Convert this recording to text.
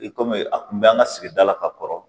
I komi a kun bɛ an ka sigida la ka kɔrɔ